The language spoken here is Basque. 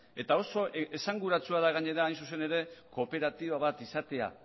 eta oso esanguratsua da gainera hain zuzen ere kooperatiba bat izatea